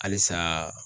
Halisa